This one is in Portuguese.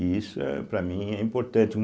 E isso, para mim, é importante.